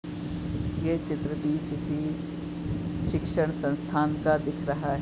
ये चित्र भी किसी शिक्षण संस्थान का दिख रहा है।